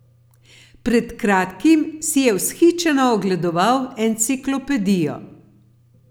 Pred kratkim si je vzhičeno ogledoval Enciklopedijo.